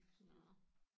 Nåh